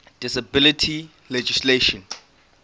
disability legislation